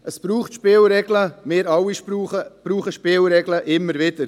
Es braucht Spielregeln, wir alle brauchen Spielregeln, immer wieder.